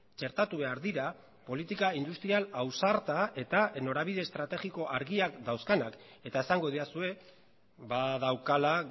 txertatu behar dira politika industrial ausarta eta norabide estrategiko argiak dauzkanak eta esango didazue daukala